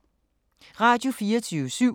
Radio24syv